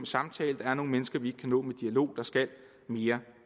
samtale der er nogle mennesker vi ikke kan nå med dialog der skal mere